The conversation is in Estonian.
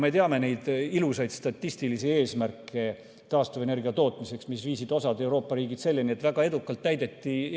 Me teame neid ilusaid statistilisi eesmärke taastuvenergia tootmiseks, mis viisid osa Euroopa riike selleni, et neid väga edukalt täideti.